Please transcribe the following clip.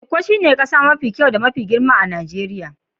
lkko shine kasa mafi kyau da mafi girma a'kasan Nijeriya.